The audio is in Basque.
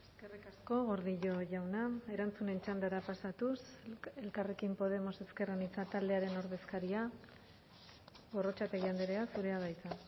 eskerrik asko gordillo jauna erantzunen txandara pasatuz elkarrekin podemos ezker anitza taldearen ordezkaria gorrotxategi andrea zurea da hitza